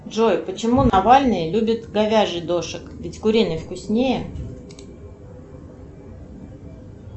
джой почему навальный любит говяжий дошик ведь куриный вкуснее